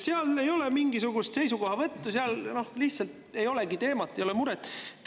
Seal ei ole mingisugust seisukohavõttu, seal lihtsalt ei olegi teemat, ei ole muret.